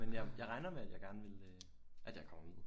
Men jeg jeg regner med at jeg gerne vil øh at jeg kommer med